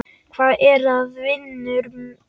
Hvað er að, vinur minn?